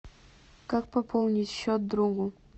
как пополнить счет другу